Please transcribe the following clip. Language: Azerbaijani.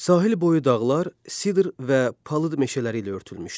Sahil boyu dağlar Sidr və Palıd meşələri ilə örtülmüşdü.